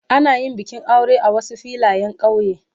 Ana yin bikin aure a Wasu Filayen kauye.